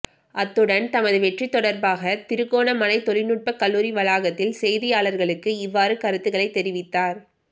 அத்துடன் தமது வெற்றி தொடர்பாக திருகோணமலை தொழிநுட்ப கல்லூரி வளாகத்தில் செய்தியாளர்களுக்கு இவ்வாறு கருத்துக்களை தெரிவித்தார்